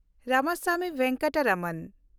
Ramaswamy Venkataraman